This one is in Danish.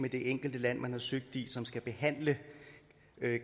det enkelte land man har søgt i som skal behandle